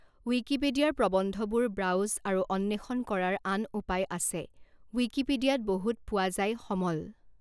ৱিকিপিডিয়াৰ প্ৰবন্ধবোৰ ব্ৰাউজ আৰু অন্বেষণ কৰাৰ আন উপায় আছে ৱিকিপিডিয়াত বহুত পোৱা যায় সমল।